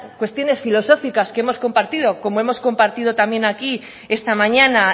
cuestiones filosóficas que hemos compartido como hemos compartido también aquí esta mañana